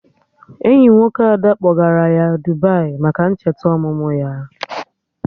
Enyi nwoke Ada kpọgara ya Dubai maka ncheta ọmụmụ ya